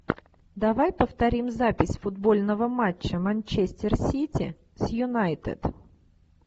давай повторим запись футбольного матча манчестер сити с юнайтед